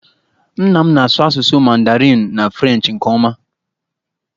Nna m na-asụ asụsụ Mandarinụ na Frenchị nke ọma